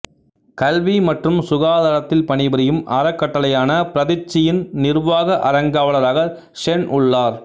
கல்வி மற்றும் சுகாதாரத்தில் பணிபுரியும் அறக்கட்டளையான பிரதிச்சியின் நிர்வாக அறங்காவலராக சென் உள்ளார்